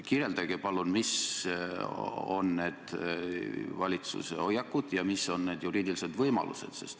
Kirjeldage palun, millised on valitsuse hoiakud ja millised on olemasolevad juriidilised võimalused.